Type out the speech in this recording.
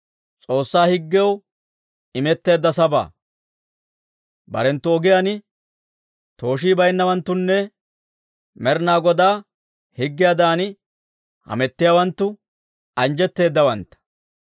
Barenttu ogiyaan tooshii bayinnawanttunne, Med'inaa Godaa higgiyaadan hamettiyaawanttu, anjjetteedawantta.